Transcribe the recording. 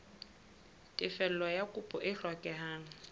tefello ya kopo e hlokehang